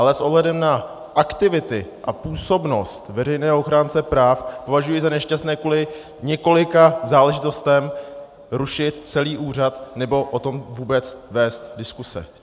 Ale s ohledem na aktivity a působnost veřejného ochránce práv považuji za nešťastné kvůli několika záležitostem rušit celý úřad nebo o tom vůbec vést diskuse.